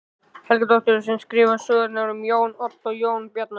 Helgadóttur sem skrifaði sögurnar um Jón Odd og Jón Bjarna.